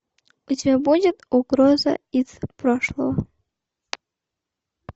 у тебя будет угроза из прошлого